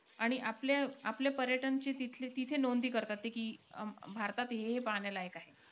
आणि आपल्या आपल्या पर्यटनची ते तिथं नोंदणी करतात ते की भारतात हे-हे पाहण्यालायक आहे.